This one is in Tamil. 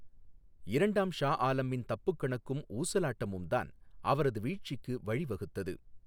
இரண்டாம் ஷா ஆலமின் தப்புக் கணக்கும் ஊசலாட்டமும் தான் அவரது வீழ்ச்சிக்கு வழிவகுத்தது.